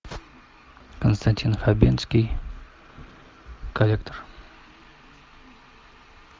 константин хабенский коллектор